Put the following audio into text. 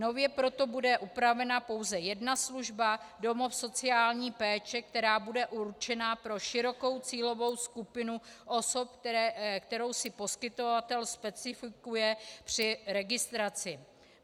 Nově proto bude upravena pouze jedna služba - domov sociální péče, která bude určena pro širokou cílovou skupinu osob, kterou si poskytovatel specifikuje při registraci.